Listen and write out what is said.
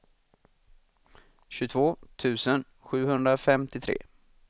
tjugotvå tusen sjuhundrafemtiotre